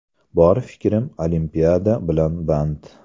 Bor fikrim Olimpiada bilan band.